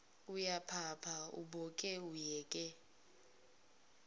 uyaphapha uboke uyeke